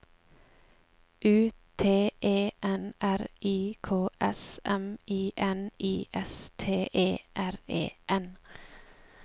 U T E N R I K S M I N I S T E R E N